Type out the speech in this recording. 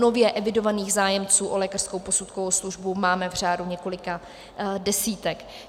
Nově evidovaných zájemců o lékařskou posudkovou službu máme v řádu několika desítek.